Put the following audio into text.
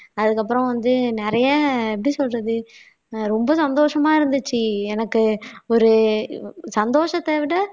அதுக்கப்புறம் வந்து நிறைய எப்படி சொல்றது ரொம்ப சந்தோஷமா இருந்துச்சு எனக்கு ஒரு சந்தோஷத்தை விட